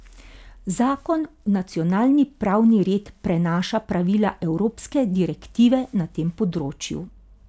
Zakon v nacionalni pravni red prenaša pravila evropske direktive na tem področju.